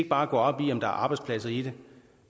bare gå op i om der er arbejdspladser i det